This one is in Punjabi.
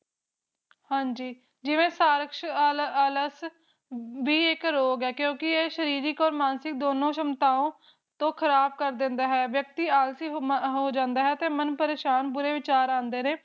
ਜਿਵੇ ਸਾਰਕਸ਼ ਆਲਸ ਵੀ ਇੱਕ ਰੋਗ ਹੈ ਕਿਉਂਕਿ ਇਹ ਸਰੀਰਕ ਤੇ ਮਾਨਸਿਕ ਦੋਨੋ ਸ਼ਮਤਾਓ ਤੋ ਖਰਾਬ ਕਰ ਦਿੰਦਾ ਹੈ ਵਿਅਕਤੀ ਆਲਸੀ ਹੋ ਜਾਂਦਾ ਹੈ ਮਨ ਬੁਰੇ ਵਿਚਾਰ ਆਂਦੇ ਨੇ